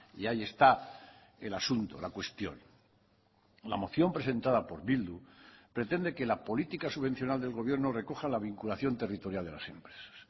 y ahí está el asunto la cuestión la moción presentada por bildu pretende que la política subvencional del gobierno recoja la vinculación territorial de las empresas